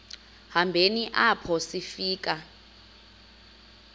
hambeni apho sifika